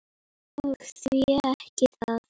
Og því ekki það?